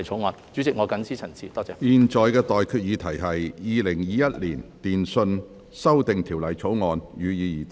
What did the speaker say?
我現在向各位提出的待決議題是：《2021年電訊條例草案》，予以二讀。